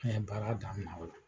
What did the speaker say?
An ye baara daminan o la.